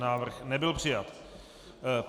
Návrh nebyl přijat.